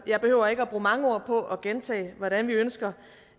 jeg behøver ikke at bruge mange ord på at gentage hvordan vi ønsker